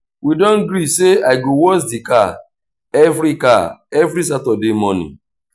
we don gree sey i go wash di car every car every saturday morning.